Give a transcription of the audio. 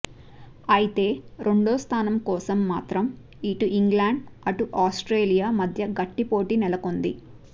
అయితే రెండో స్థానం కోసం మాత్రం ఇటు ఇంగ్లండ్ అటు ఆస్ట్రేలియా మధ్య గట్టి పోటీ నెలకొంది